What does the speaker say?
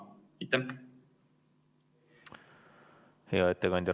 Hea ettekandja!